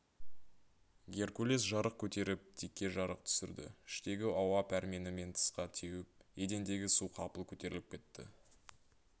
геркулес жарық көтеріп дикке жарық түсірді іштегі ауа пәрменімен тысқа теуіп едендегі су қапыл көтеріліп кетті